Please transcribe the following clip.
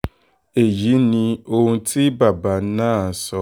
èyí ni ohun tí bàbá náà sọ